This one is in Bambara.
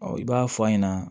i b'a fɔ a ɲɛna